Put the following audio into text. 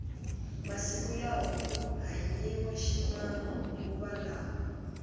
masiku lawa ku hanyiwa ximanguva lawa